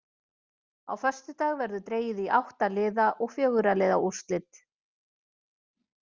Á föstudag verður dregið í átta liða og fjögurra liða úrslit.